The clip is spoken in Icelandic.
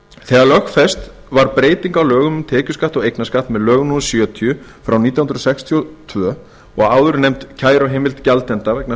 þegar lögfest var breyting á lögum um tekjuskatt og eignarskatt með lögum númer sjötíu nítján hundruð sextíu og tvö og áðurnefnd kæruheimild gjaldenda vegna